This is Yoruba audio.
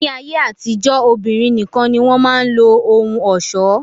Ni ayé àtijọ́, obìnrin nìkan ni wọn máa ń lo ohun ọ̀ṣọ́